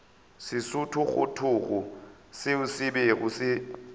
sethogothogo seo se bego se